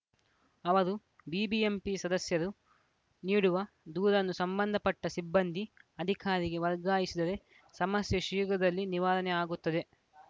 ಅವರು ಬಿಬಿಎಂಪಿ ಸದಸ್ಯರು ನೀಡುವ ದೂರನ್ನು ಸಂಬಂಧಪಟ್ಟಸಿಬ್ಬಂದಿ ಅಧಿಕಾರಿಗೆ ವರ್ಗಾಯಿಸಿದರೆ ಸಮಸ್ಯೆ ಶೀಘ್ರದಲ್ಲಿ ನಿವಾರಣೆ ಆಗುತ್ತದೆ